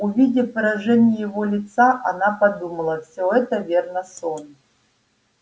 увидев выражение его лица она подумала всё это верно сон